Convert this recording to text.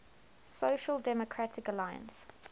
social democratic alliance